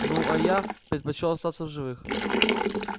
ну а я предпочёл остаться в живых